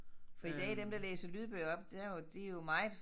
For i dag dem der læser lydbøger op der jo de jo meget